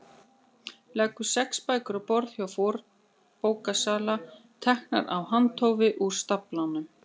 Leggur sex bækur á borð hjá fornbókasala, teknar af handahófi úr staflanum.